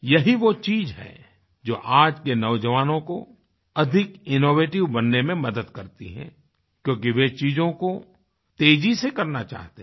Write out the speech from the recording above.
यही वो चीज़ है जो आज के नौजवानों को अधिक इनोवेटिव बनने में मदद करती है क्योंकि वे चीज़ों को तेज़ी से करना चाहते हैं